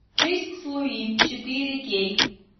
жизнь с луи четыре кей